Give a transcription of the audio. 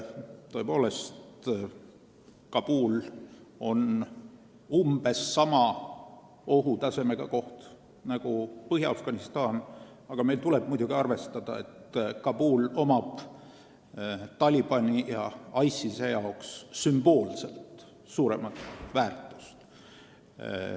Kabul on tõesti umbes sama ohutasemega koht nagu Põhja-Afganistan, aga meil tuleb muidugi arvestada, et Kabulil on Talibani ja ISIS-e jaoks sümboolselt suurem väärtus.